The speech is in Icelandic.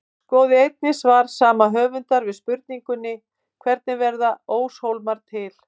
Skoðið einnig svar sama höfundar við spurningunni Hvernig verða óshólmar til?